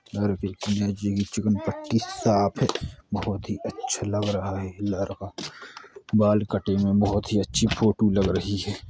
पट्टी साफ़ है बहुत ही अच्छा लग रहा है ये लड़का बाल कटिंग में बहुत ही अच्छी फोटो हो लग रही है।